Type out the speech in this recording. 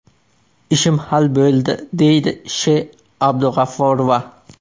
Ishim hal bo‘ldi”, deydi Sh.Abdug‘afforova.